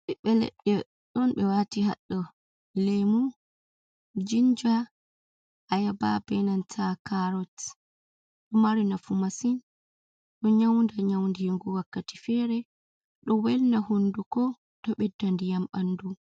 Ɓiɓbe leɗde ɗon ɓe wati haɗɗo lemu, jinja, ayaba benanta karot, ɗo mari nafu masin. Ɗo nyaunda nyaundigu wakkati fere ɗo welna hunduko to ɓedda ndiyam ɓandu.